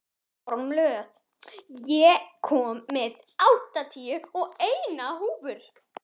Kormlöð, ég kom með áttatíu og eina húfur!